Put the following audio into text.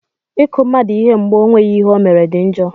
I kụ mmadụ ihe mgbe ọ nweghị ihe ọ mere dị njọ.